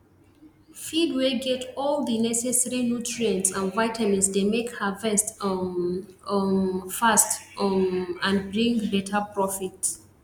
feed wey get all the neccesary nutrients and vitamins dey make harvest um um fast um and bring better profit